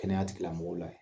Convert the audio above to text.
Kɛnɛya tigilamɔgɔw la